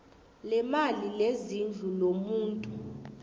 leemali lezindlu lomuntu